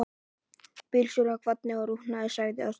Bílstjórinn kvaddi og rútan lagði af stað.